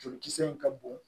Jolikisɛ in ka bon